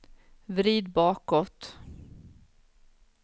vrid bakåt